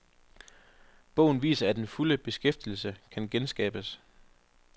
Bogen viser, at den fulde beskæftigelse kan genskabes.